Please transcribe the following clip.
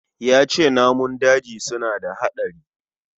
Yace namun daji suna da hadari